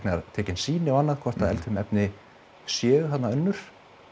tekin sýni og annað hvort að eldfim efni séu þarna önnur